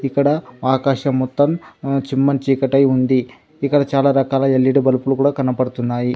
ఇక్కడ ఆకాశం మొత్తం చిమ్మని చీకటై ఉంది ఇక్కడ చాలా రకాల ఎల్ఈడి బల్బులు కూడా కనపడుతున్నాయి.